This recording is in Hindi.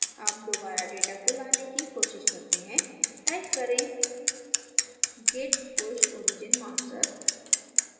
अब दोबारा data को लाने की कोशिश करते हैं type करें git push origin master